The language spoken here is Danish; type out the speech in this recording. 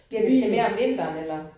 Bliver det til mere om vinteren eller?